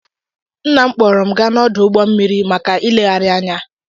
nna m kpọọrọ m gaa n'ọdụ ụgbọ mmiri maka ịlegharị anya